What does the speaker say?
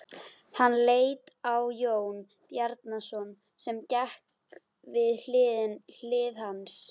Hann leit á Jón Bjarnason sem gekk við hlið hans.